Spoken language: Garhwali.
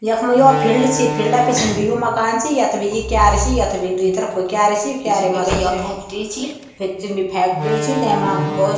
यखमा यौ फिल्ड च फील्डा पिछने बि यो मकान च यख्बी यो क्यारी छी यखबी भी द्वि तरफ क्यारी च क्यारी मा जी फैक्टरी च तेमा भौत --